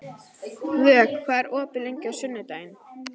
Vök, hvað er opið lengi á sunnudaginn?